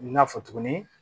N y'a fɔ tuguni